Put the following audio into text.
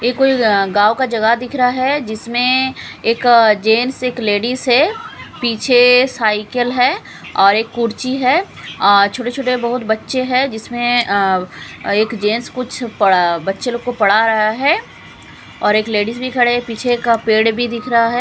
ये कोई अ गांव का जगह दिख रहा है जिसमें एक जेंट्स एक लेडीज है। पीछे साइकिल है और एक कुर्सी है और अ छोटे-छोटे बहुत बच्चे हैं जिसमें अ एक जेंट्स कुछ पड़ बच्चे लोग को पड़ा रहा है और एक लेडिस भी खड़े पीछे का पेड़ भी दिख रहा है।